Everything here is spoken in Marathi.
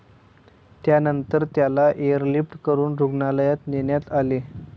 त्यानंतर त्याला एअरलिफ्ट करून रुग्णालयात नेण्यात आले.